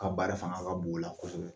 Ka baara fanga ka bon o la kosɛbɛ